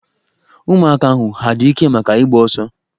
Ụmụaka ahụ ha adị ike maka ịgba ọso?